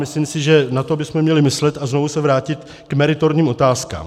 Myslím si, že na to bychom měli myslet a znovu se vrátit k meritorním otázkám.